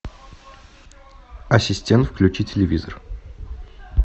ассистент включи телевизор